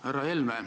Härra Helme!